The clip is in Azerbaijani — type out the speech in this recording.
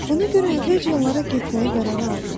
Ona görə əvvəlcə onlara getməyə qərar aldı.